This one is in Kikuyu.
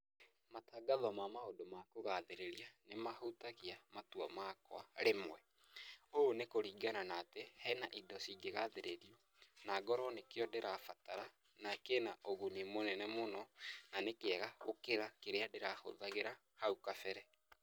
Matangatho ma maũndũ ma kũgathĩrĩria nĩ mahutagia matua makwa rĩmwe. Ũũ ni kũringana na atĩ, he na indo cingĩgathĩrĩrio na ngorũo nĩkĩo ndĩrabatara, na kĩ na ũguni mũnene mũno, na ni kĩega gũkĩra kĩrĩa ndĩrahũthagĩra hau kabere.